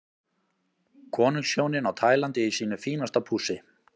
Konungshjónin á Tælandi í sínu fínasta pússi.